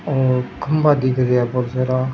ओर खंभा दिख रिया है बहुत सारा।